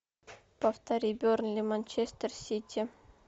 повтори бернли манчестер сити